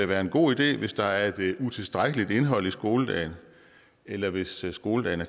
være en god idé hvis der er et utilstrækkeligt indhold i skoledagene eller hvis skoledagene